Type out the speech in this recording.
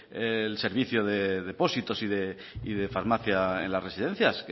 el servicio de depósitos y de farmacia en las residencias